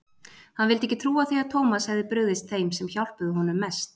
Hann vildi ekki trúa því að Thomas hefði brugðist þeim sem hjálpuðu honum mest.